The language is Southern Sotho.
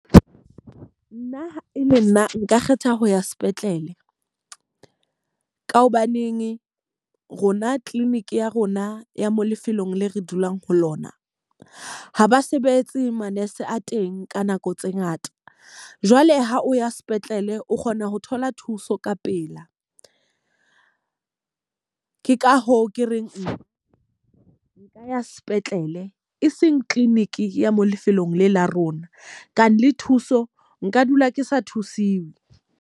Nna ha e le nna nka kgetha ho ya sepetlele. Ka hobaneng rona clinic ya rona ya mo lefelong le re dulang ho lona, ha ba sebetse ma-nurse a teng ka nako tse ngata. Jwale ha o ya sepetlele o kgona ho thola thuso ka pela. Ke ka hoo ke reng nka ya sepetlele e seng clinic ya mo lefelong le la rona, ka le thuso nka dula ke sa thusiwa.